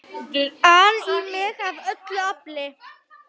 an í mig af öllu afli.